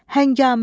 Həngamə.